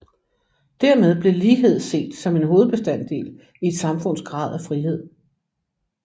Dermed blev lighed set som en hovedbestanddel i et samfunds grad af frihed